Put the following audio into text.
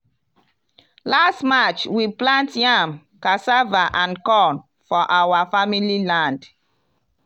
last march we plant yam cassava and corn for our family land.